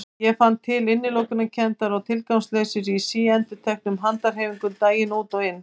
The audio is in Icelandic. Ég fann til innilokunarkenndar og tilgangsleysis í síendurteknum handahreyfingum daginn út og inn.